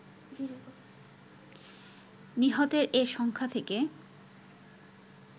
নিহতের এ সংখ্যা থেকে